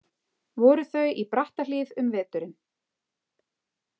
Voru þau í Brattahlíð um veturinn.